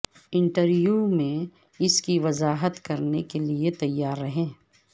interview میں اس کی وضاحت کرنے کے لئے تیار رہیں